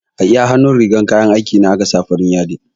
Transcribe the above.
A iya hannun rigar kayan aiki na aka sa farin yadi